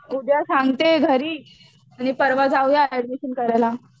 उद्या सांगते घरी आणि परवा जाऊया एड्मिशन करायला